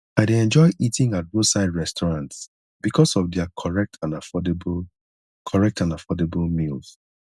i dey enjoy eating at roadside restaurants because of their correct and affordable correct and affordable meals